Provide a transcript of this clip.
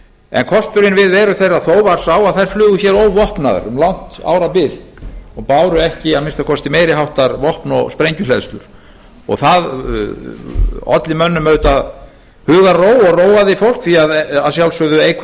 en kosturinn við veru þeirra þó var sá að þær flugu hér óvopnaðar um langt árabil og báru ekki að minnsta kosti meiri háttar vopn og sprengjuhleðslur og það olli mönnum auðvitað hugarró og róaði fólk því að að sjálfsögðu eykur